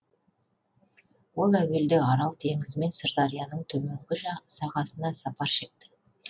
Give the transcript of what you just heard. ол әуелде арал теңізі мен сырдарияның төменгі сағасына сапар шекті